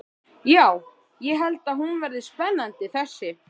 Já, ég held hún verði spennandi þessi.